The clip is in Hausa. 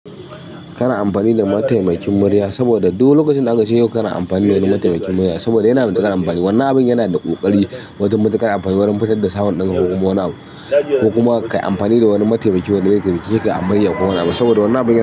Kana amfani da mataimakin murya saboda duk lokacin da aka ce yau kana amfani da wani mataimakin murya saboda yana da tamfani. Wannan abun yanada ƙoƙarin wajen matuƙar amfani, wajen fitar da sound ɗin ko kuma wani abu ko kuma ka yi amfani da wani mataimaki wanda ze taimake ka a murya ko wani abu saboda wannan abin yana da.